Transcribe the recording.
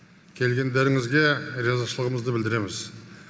келгендеріңізге ризашылығымызды білдіреміз